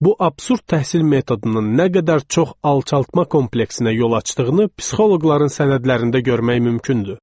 Bu absurd təhsil metodunun nə qədər çox alçaltma kompleksinə yol açdığını psixoloqların sənədlərində görmək mümkündür.